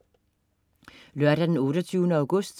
Lørdag den 28. august